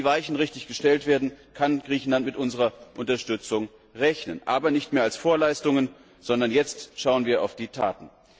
Wenn die Weichen richtig gestellt werden, kann Griechenland mit unserer Unterstützung rechnen, aber nicht mehr als Vorleistungen, sondern jetzt schauen wir auf die Taten.